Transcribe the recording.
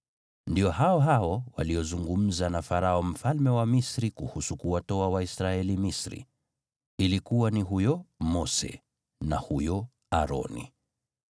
Ndio hao hao waliozungumza na Farao mfalme wa Misri kuhusu kuwatoa Waisraeli Misri. Ilikuwa ni huyo Mose na huyo Aroni.